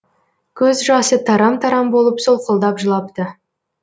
көз жасы тарам тарам болып солқылдап жылапты